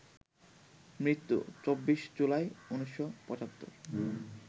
মৃত্যু ২৪ জুলাই ১৯৭৫